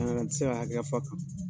N ti se ka hakɛya fɔ a kan